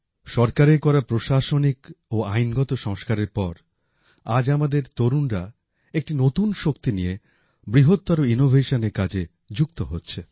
সরকারের করা প্রশাসনিক ও আইনগত সংস্কারের পর আজ আমাদের তরুণরা একটি নতুন শক্তি নিয়ে বৃহত্তর ইনোভেশনের কাজে যুক্ত হচ্ছে